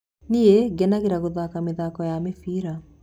Nĩi ngenagĩrĩra gũthaka mĩthako ya mĩbira.